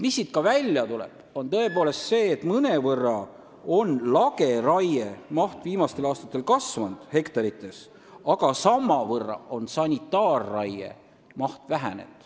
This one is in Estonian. Mis siit veel välja tuleb, on tõepoolest see, et viimastel aastatel on lageraie maht hektarites mõnevõrra kasvanud, aga samavõrra on vähenenud sanitaarraie maht.